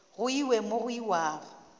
go iwe mo go iwago